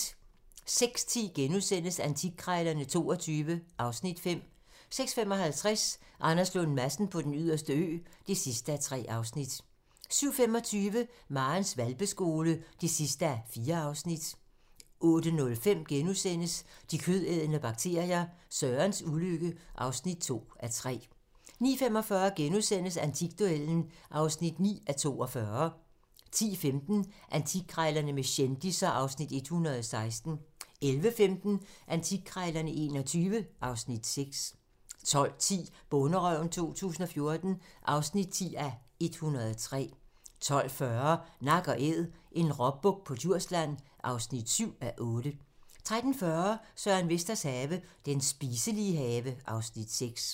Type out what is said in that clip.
06:10: Antikkrejlerne XXII (Afs. 5)* 06:55: Anders Lund Madsen på Den Yderste Ø (3:3) 07:25: Marens hvalpeskole (4:4) 08:05: De kødædende bakterier - Sørens ulykke (2:3)* 09:45: Antikduellen (9:42)* 10:15: Antikkrejlerne med kendisser (Afs. 116) 11:15: Antikkrejlerne XXII (Afs. 6) 12:10: Bonderøven 2014 (10:103) 12:40: Nak & æd - en råbuk på Djursland (7:8) 13:40: Søren Vesters have - Den spiselige have (Afs. 6)